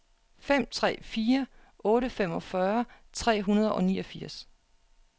fem tre fire otte femogfyrre tre hundrede og niogfirs